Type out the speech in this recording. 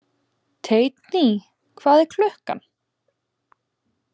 Teitný, hvað er klukkan?